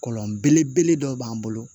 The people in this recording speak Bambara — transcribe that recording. Kɔlɔn belebele dɔ b'an bolo